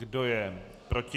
Kdo je proti?